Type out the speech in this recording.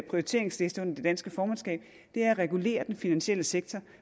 prioriteringsliste under det danske formandskab er at regulere den finansielle sektor